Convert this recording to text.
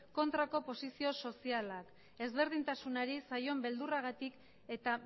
kontrako posizio soziala ezberdintasunari zaion beldurragatik eta